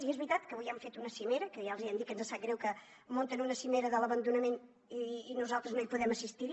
i és veritat que avui hem fet una cimera que ja els hi hem dit que ens sap greu que munten una cimera de l’abandonament i nosaltres no hi podem assistir